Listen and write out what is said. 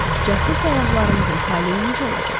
Cəsur səyyahlarımızın taleyi necə olacaq?